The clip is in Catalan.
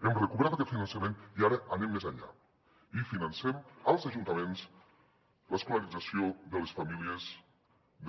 hem recuperat aquest finançament i ara anem més enllà i financem als ajuntaments l’escolarització de les famílies